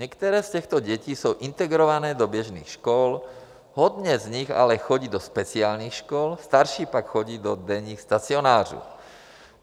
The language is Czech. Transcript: Některé z těchto dětí jsou integrované do běžných škol, hodně z nich ale chodí do speciálních škol, starší pak chodí do denních stacionářů.